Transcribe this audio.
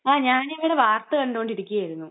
ങാ..ഞാനിവിടെ വാർത്ത കണ്ടോണ്ട് ഇരിക്കുവായിരുന്നു.